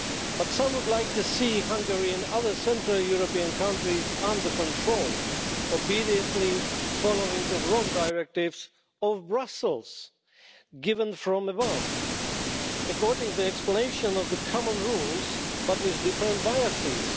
But some would like to see Hungary and other central European countries under control, obediently following the wrong directives of Brussels given from above according to the explanation of the common rules, but with different biases.